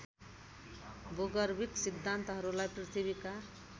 भूगर्भिक सिद्धान्तहरूलाई पृथ्वीका